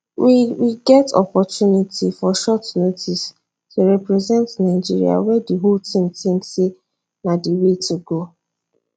we we get opportunity for short notice to represent nigeria wey di whole team tink say na di way to go